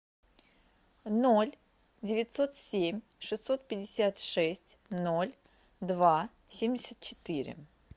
ноль девятьсот семь шестьсот пятьдесят шесть ноль два семьдесят четыре